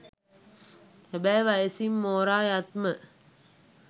හැබැයි වයසින් මෝරා යත්ම